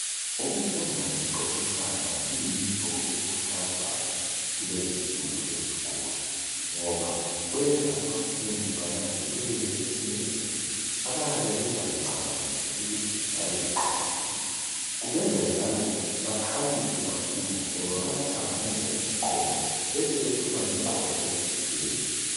Ukufunda ngokuxoxisana kuyinto ekhuthazwayo kulezinsuku ezikolo ngoba kwenza abafundi bananzelele ezinye izinto, abayabe bengazcabangeli ukuthi zingabe ziqakathekile. Kubenza njalo bakhaliphe kakhulu ngoba bayahlanganisa imqondo besebephuma lemqondo ejulileyo.